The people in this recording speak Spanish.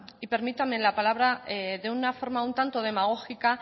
y permítame la palabra de una forma un tanto demagógica